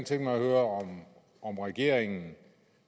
tænke mig at høre om regeringen